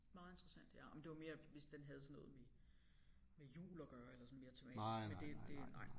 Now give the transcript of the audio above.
Meget interessant ja det var mere hvis den havde sådan noget med med jul at gøre eller sådan mere tematisk men det det nej